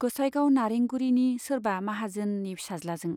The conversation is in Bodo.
गोसाइगाव नारेंगुरीनि सोरबा माहाजोननि फिसाज्लाजों।